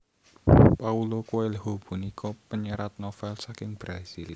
Paulo Coelho punika panyerat novèl saking Brazil